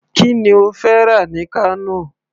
Kí ni ó fẹ́ rà ní Kano.